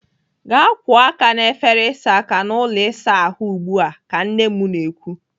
"Gaa kwụọ aka n'efere ịsa aka n'ụlọ ịsa ahụ ugbu a!" ka nne m na-ekwu.